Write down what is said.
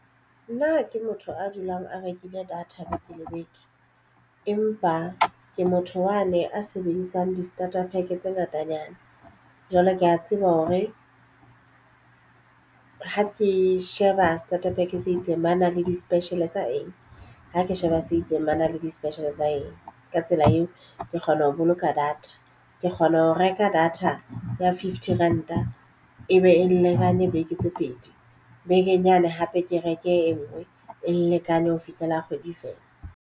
Nna ha ke motho a dulang a rekile data beke le beke, empa ke motho yane a sebedisang di starter pack tse ngatanyana. Jwale ke ya tseba hore ha ke sheba starter pack se itseng. Ba na le di-special tsa eng ha ke sheba se itseng ba na le di-special tsa eng. Ka tsela eo ke kgona ho boloka data ke kgona ho reka data ya fifty ranta e be e lekane beke tse pedi, bekeng yane hape ke reke e nngwe e lekane ho fihlela kgwedi e feela.